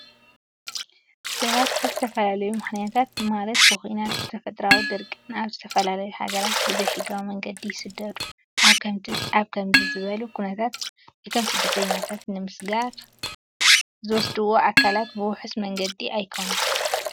ሰባት ብዝተፈላለዩ ምክንያታት ማለት ብኹናት፣ ብተፈጥራዊ ድርቂን ናብ ዝተፈላለዩ ሃገራት ብዘይ ሕጋዊ መንገዲ ይስደዱ። ኣብ ከምዚ ዝበሉ ኩነታት እቶም ስደተኛታት ንምስግጋይ ዝወስድዎም ኣካላት ብውሑስ መንገዲ ኣይኾነን።